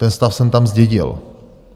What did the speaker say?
Ten stav jsem tam zdědil.